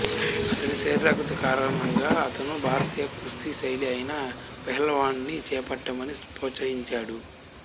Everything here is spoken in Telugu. అతని శరీరాకృతి కారణంగా అతను భారతీయ కుస్తీ శైలి అయిన పెహల్వానీని చేపట్టమని ప్రోత్సహించాడు